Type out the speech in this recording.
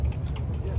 Gəl, otur burda.